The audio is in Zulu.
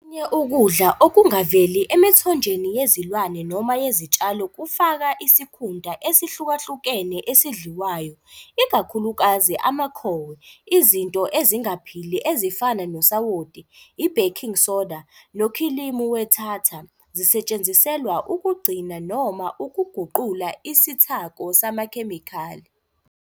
Okunye ukudla okungaveli emithonjeni yezilwane noma yezitshalo kufaka isikhunta esihlukahlukene esidliwayo, ikakhulukazi amakhowe. Izinto ezingaphili ezifana nosawoti, i- baking soda nokhilimu we-tartar zisetshenziselwa ukugcina noma ukuguqula isithako samakhemikhali.